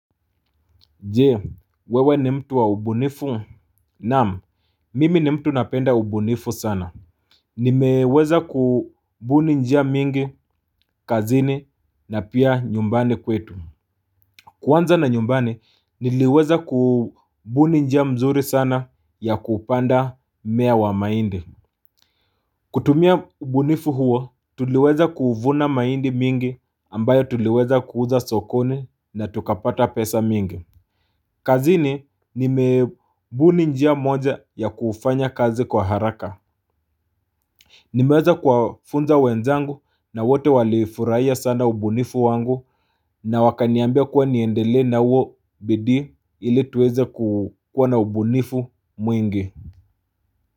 Jee wewe ni mtu wa ubunifu naam mimi ni mtu napenda ubunifu sana. Nimeweza kubuni njia mingi kazini na pia nyumbani kwetu. Kuanza na nyumbani niliweza kubuni njia mzuri sana ya kupanda mmea wa maindi. Kutumia ubunifu huo tuliweza kuvuna maindi mingi ambayo tuliweza kuuza sokoni na tukapata pesa mingi kazini nimebuni njia moja ya kufanya kazi kwa haraka. Nimeweza kuwafunza wenzangu na wote walifuraia sana ubunifu wangu. Na wakaniambia kuwa niendelee na huo bidii ili tuweze kuwa na ubunifu mwingi.